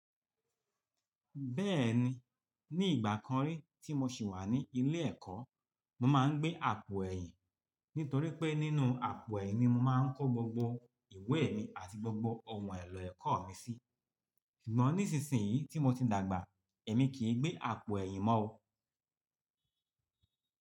Bẹ́ẹ̀ni, ní ìgbà kan rí tí mo ṣì wà ní ilé ẹ̀kọ́, mo máa ń gbé àpò ẹ̀yìn. Nítorí pé nínú àpò ẹ̀yìn ni mo máa ń kó gbogbo ìwé mi àti gbogbo ohun èlò ẹ̀kọ́ mi sí. Ṣùgbọ́n nísinsìnyí tí mo ti dàgbà, èmi kì í gbé àpò ẹ̀yìn mọ́ o.